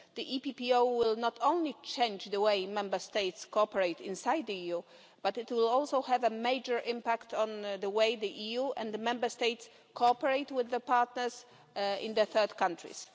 The EPPO will not only change the way Member States cooperate inside the EU, but will also have a major impact on the way the EU and Member States cooperate with partners in third countries.